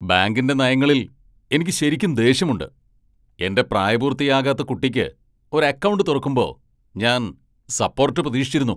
ബാങ്കിന്റെ നയങ്ങളിൽ എനിക്ക് ശരിക്കും ദേഷ്യമുണ്ട്. എന്റെ പ്രായപൂർത്തിയാകാത്ത കുട്ടിക്ക് ഒരു അക്കൗണ്ട് തുറക്കുമ്പോ ഞാൻ സപ്പോർട്ട് പ്രതീക്ഷിച്ചിരുന്നു.